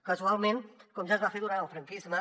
casualment com ja es va fer durant el franquisme